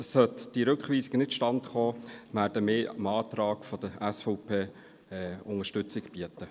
Sollte die Rückweisung nicht zustande kommen, werden wir dem Antrag der SVP Unterstützung geben.